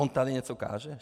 On tady něco káže?